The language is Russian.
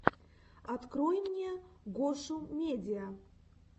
открой мне гошумедиа